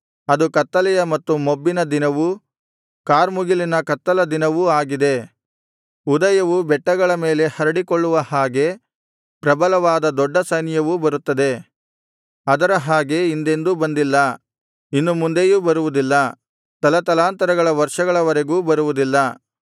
ಅದು ಕತ್ತಲೆಯ ಮತ್ತು ಮೊಬ್ಬಿನ ದಿನವೂ ಕಾರ್ಮುಗಿಲಿನ ಕಗ್ಗತ್ತಲ ದಿನವೂ ಆಗಿದೆ ಉದಯವು ಬೆಟ್ಟಗಳ ಮೇಲೆ ಹರಡಿಕೊಳ್ಳುವ ಹಾಗೆ ಪ್ರಬಲವಾದ ದೊಡ್ಡ ಸೈನ್ಯವು ಬರುತ್ತದೆ ಅದರ ಹಾಗೆ ಹಿಂದೆಂದೂ ಬಂದಿಲ್ಲ ಇನ್ನು ಮುಂದೆಯೂ ಬರುವುದಿಲ್ಲ ತಲತಲಾಂತರಗಳ ವರ್ಷಗಳವರೆಗೂ ಬರುವುದಿಲ್ಲ